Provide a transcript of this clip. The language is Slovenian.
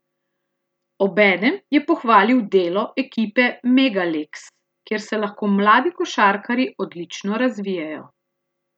Obenem je pohvalil delo ekipe Mega Leks, kjer se lahko mladi košarkarji odlično razvijajo.